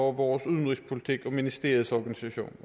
vores udenrigspolitik og ministeriets organisation